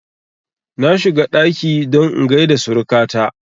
Na shiga ɗaki don in gaida suruka ta